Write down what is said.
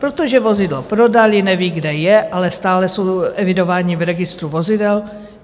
Protože vozidlo prodali, nevědí, kde je, ale stále jsou evidováni v registru vozidel.